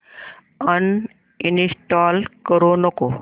uninstall करू नको